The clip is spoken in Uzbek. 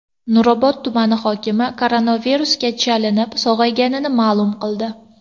Nurobod tumani hokimi koronavirusga chalinib, sog‘ayganini ma’lum qildi.